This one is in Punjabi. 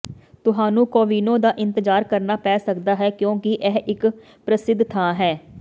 ਤੁਹਾਨੂੰ ਕੋਵਿੰਨੋ ਦਾ ਇੰਤਜ਼ਾਰ ਕਰਨਾ ਪੈ ਸਕਦਾ ਹੈ ਕਿਉਂਕਿ ਇਹ ਇੱਕ ਪ੍ਰਸਿੱਧ ਥਾਂ ਹੈ